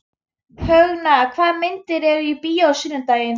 Högna, hvaða myndir eru í bíó á sunnudaginn?